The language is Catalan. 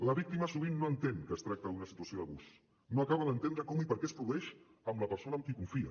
la víctima sovint no entén que es tracta d’una situació d’abús no acaba d’entendre com i per què es produeix amb la persona amb qui confia